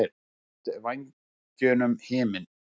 Þú ert vængjunum himinn.